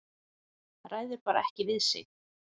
Ræður bara ekki við sig.